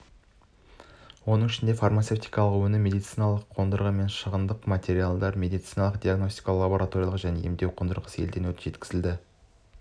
оның ішінде фармацевтикалық өнім медициналық қондырғы мен шығындық материалдар медициналық-диагностикалық лабораториялық және емдеу қондырғысы елден жеткізілді